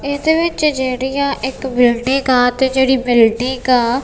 ਇਸਦੇ ਵਿੱਚ ਜੇਹੜੀਆਂ ਇੱਕ ਬਿਲਡਿਗ ਆ ਤੇ ਜੇਹੜੀ ਬਿਲਡਿਗ ਆ--